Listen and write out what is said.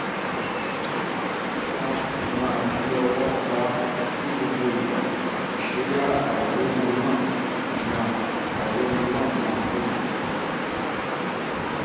a si man fi owo pa ni gbogbo igba boya airorun na ma airorun na ma dinku